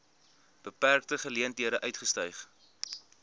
beperkte geleenthede uitgestyg